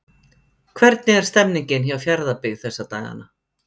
Hvernig er stemningin hjá Fjarðabyggð þessa dagana?